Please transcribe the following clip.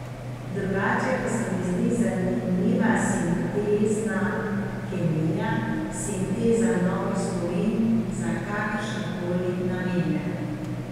Drugače pa se mi zdi zanimiva sintezna kemija, sinteza novih spojin za kakršne koli namene.